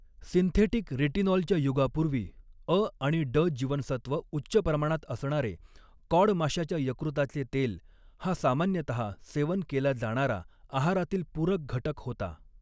Synthetic रेटिनॉलच्या युगापूर्वी, अ आणि ड जीवनसत्व उच्च प्रमाणात असणारे कॉड माश्याच्या यकृताचे तेल हा सामान्यतः सेवन केला जाणारा आहारातील पूरक घटक होता.